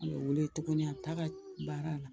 U be weele tuguni a taa ka baara la